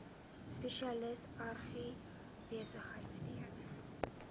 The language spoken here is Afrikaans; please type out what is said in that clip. spesialis agribesigheid steun